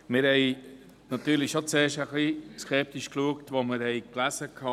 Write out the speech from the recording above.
Wir waren zuerst schon skeptisch, als wir lasen: